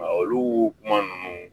Olu kuma ninnu